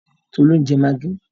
Tolú ń jẹ magí.